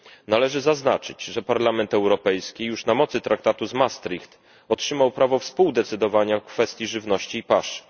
Należy zaznaczyć, że Parlament Europejski już na mocy traktatu z Maastricht otrzymał prawo współdecydowania w kwestii żywności i pasz.